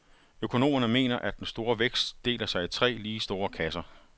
Økonomerne mener, at den store vækst deler sig i tre lige store kasser.